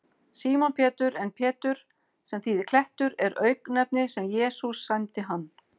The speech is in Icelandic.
Símon Pétur, en Pétur, sem þýðir klettur, er auknefni sem Jesús sæmdi hann.